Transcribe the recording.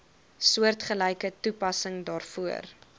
soortgelyke toepassing daarvoor